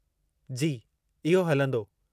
जी, इहो हलंदो।